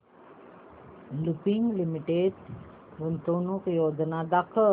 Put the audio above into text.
Lupin limited गुंतवणूक योजना दाखव